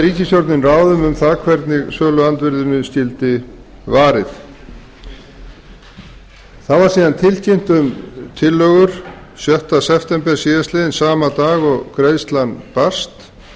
ríkisstjórnin ráðum um það hvernig söluandvirðinu skyldi varið þá var síðan tilkynnt um tillögur sjötta september síðastliðinn sama dag og greiðslan barst